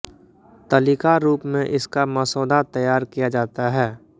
तलिका रूप में इसका मसौदा तैयार किया जाता है